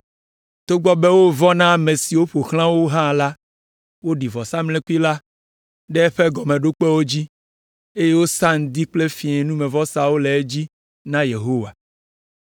Togbɔ be wovɔ̃ na ame siwo ƒo xlã wo hã la, woɖi vɔsamlekpui la ɖe eƒe gɔmeɖokpewo dzi, eye wosa ŋdi kple fiẽ numevɔsawo le edzi na Yehowa.